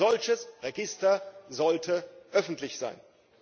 Ein solches Register sollte öffentlich sein!